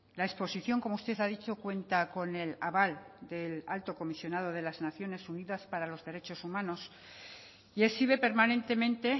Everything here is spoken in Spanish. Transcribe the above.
la exposición como usted ha dicho cuenta con el aval del alto comisionado de las naciones unidas para los derechos humanos y exhibe permanentemente